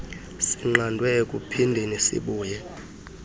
sinqandwe ekuphindeni sibuye